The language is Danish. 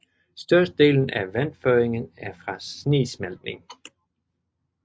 Størstedelen af vandføringen er fra snesmeltning